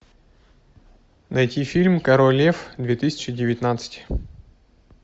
найти фильм король лев две тысячи девятнадцать